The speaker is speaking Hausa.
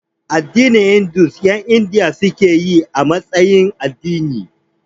Addinin Hindu ƴan Indiya suke yi a matsayin addini